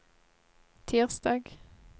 tirsdag